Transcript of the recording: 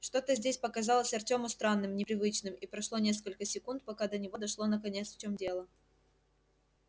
что-то здесь показалось артёму странным непривычным и прошло несколько секунд пока до него дошло наконец в чём дело